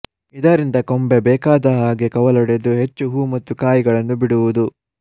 ಇದರಿಂದ ಕೊಂಬೆ ಬೇಕಾದ ಹಾಗೆ ಕವಲೊಡೆದು ಹೆಚ್ಚು ಹೂ ಮತ್ತು ಕಾಯಿಗಳನ್ನು ಬಿಡುವುದು